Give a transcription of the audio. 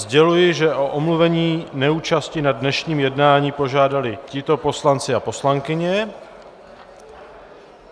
Sděluji, že o omluvení neúčasti na dnešním jednání požádali tito poslanci a poslankyně.